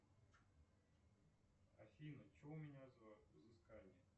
афина че у меня за взыскание